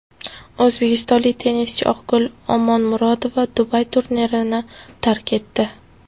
O‘zbekistonlik tennischi Oqgul Omonmurodova Dubay turnirini tark etdi.